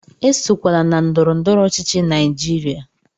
Esokwala na ndọrọ ndọrọ ọchịchị Naijiria!